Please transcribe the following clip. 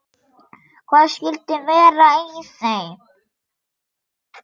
Hvað skyldi vera í þeim?